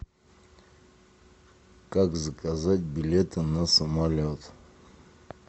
как заказать билеты на самолет